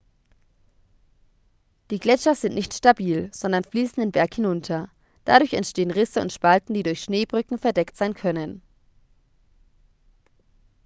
die gletscher sind nicht stabil sondern fließen den berg hinunter dadurch entstehen risse und spalten die durch schneebrücken verdeckt sein können